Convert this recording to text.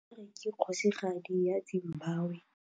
Harare ke kgosigadi ya Zimbabwe.